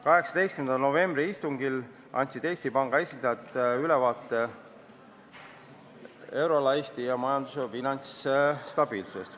18. novembri istungil andsid Eesti Panga esindajad ülevaate euroala ja Eesti majanduse finantsstabiilsusest.